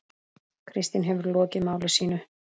Kristín hefur lokið máli sínu.